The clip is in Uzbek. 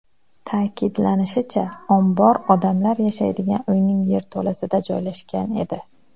Ta’kidlanishicha, ombor odamlar yashaydigan uyning yerto‘lasida joylashgan edi.